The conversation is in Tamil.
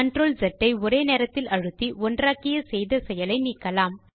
CTRLZ ஐ ஒரே நேரத்தில் அழுத்தி ஒன்றாக்கிய செய்த செயலை நீக்கலாம்